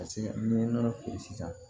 Ka se ka ni nɔnɔ feere sisan